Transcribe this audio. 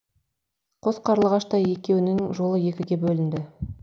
қос қарлығаштай екеуінің жолы екіге бөлінді